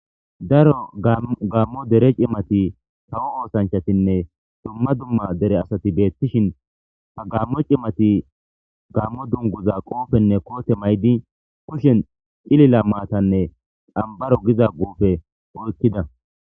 daro gammo dere cimati hawo oosanchatinne dumma dumma dere asati beettishin ha gammo cimati gammo dunguza qoofenne koote maydi kushen cilila maatanne xmbaro giza gufe oykkida